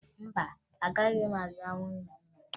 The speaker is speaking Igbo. Mba, agaghị m aga hụ nna m na nga